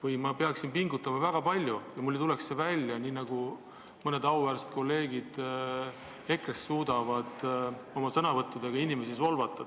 Ja ma peaksin pingutama väga palju, kui tahaksin oma sõnavõttudega inimesi solvata, nii nagu mõned auväärsed kolleegid EKRE-st seda suudavad.